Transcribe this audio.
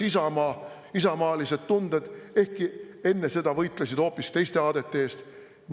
… leiavad üles isamaalised tunded, ehkki enne seda võitlesid hoopis teiste aadete eest.